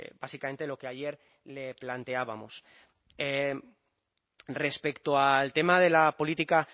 básicamente lo que ayer le planteábamos respecto al tema de la política